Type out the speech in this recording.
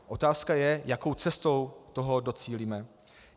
Otázka je, jakou cestou toho docílíme.